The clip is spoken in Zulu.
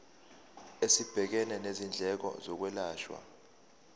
esibhekene nezindleko zokwelashwa